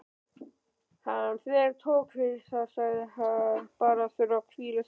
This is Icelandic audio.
Hann þvertók fyrir það, sagðist bara þurfa að hvíla sig.